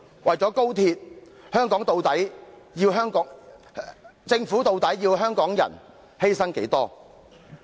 為了高鐵，究竟政府要香港人作出多少犧牲呢？